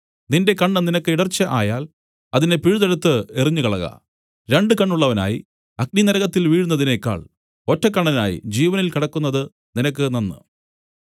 നിന്റെ കണ്ണ് നിനക്ക് ഇടർച്ച ആയാൽ അതിനെ പിഴുതെടുത്തു എറിഞ്ഞുകളക രണ്ടു കണ്ണുള്ളവനായി അഗ്നിനരകത്തിൽ വീഴുന്നതിനേക്കാൾ ഒറ്റക്കണ്ണനായി ജീവനിൽ കടക്കുന്നത് നിനക്ക് നന്ന്